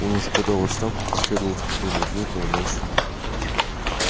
он уже подал в отставку последовал спокойный ответ но она ещё